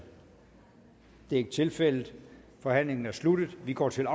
det er ikke tilfældet forhandlingen er sluttet og vi går til